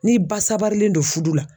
N'i ba sabarilen don fudu la